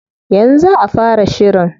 Yanzu za a fara shirin.